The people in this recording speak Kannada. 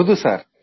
ಹೌದು ಸರ್